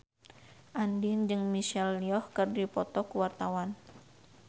Andien jeung Michelle Yeoh keur dipoto ku wartawan